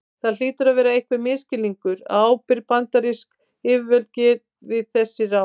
Það hlýtur að vera einhver misskilningur að ábyrg bandarísk yfirvöld gefi þessi ráð.